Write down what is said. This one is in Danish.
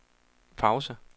pause